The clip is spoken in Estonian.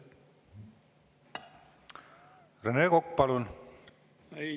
Rene Kokk, palun!